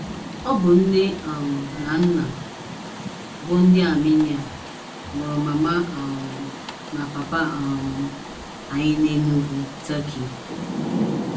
ỌBỤ nne um na nna bụ́ ndị Armenia mụrụ mama um na papa um anyị na Enugu, Turkey.